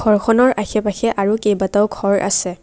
ঘৰখনৰ আশে পাশে আৰু কেইবাটাও ঘৰ আছে।